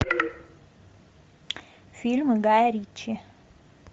фильмы гая ричи